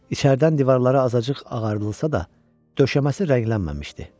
İçəridən divarları azacıq ağardılsa da, döşəməsi rənglənməmişdi.